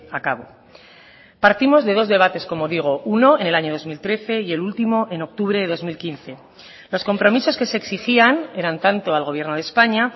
a cabo partimos de dos debates como digo uno en el año dos mil trece y el último en octubre de dos mil quince los compromisos que se exigían eran tanto al gobierno de españa